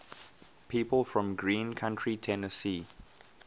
people from greene county tennessee